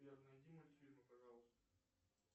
сбер найди мультфильмы пожалуйста